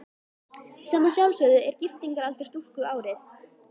Sem að sjálfsögðu er giftingaraldur stúlku árið